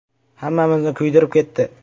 – Hammamizni kuydirib ketdi.